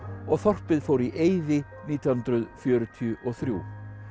og þorpið fór í eyði nítján hundruð fjörutíu og þrjú